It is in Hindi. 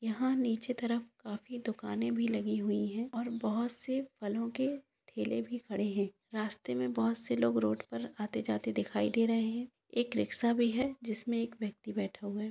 यह नीचे तरह पानी दुकान लगी हे और बहुत से फ्लो के टेली कड़े हे रस्ते में बहुत से लोग आते जाते दिक् रहा हे एक रिक्शा बी हे रिक्शा में एक व्यक्ति ब्याट होंगे |